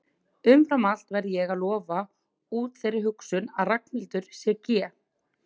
Umfram allt verð ég að lofta út þeirri hugsun að Ragnhildur sé GE